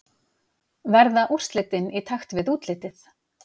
Verða úrslitin í takt við útlitið?